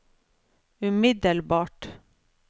umiddelbart